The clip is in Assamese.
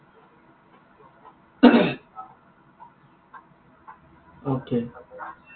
Okay